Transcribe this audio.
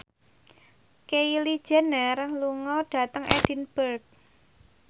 Kylie Jenner lunga dhateng Edinburgh